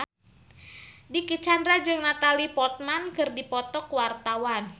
Dicky Chandra jeung Natalie Portman keur dipoto ku wartawan